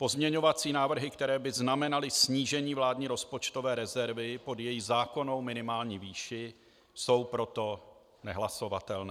Pozměňovací návrhy, které by znamenaly snížení vládní rozpočtové rezervy pod její zákonnou minimální výši, jsou proto nehlasovatelné.